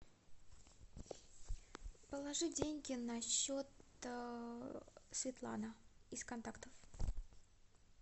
положи деньги на счет светлана из контактов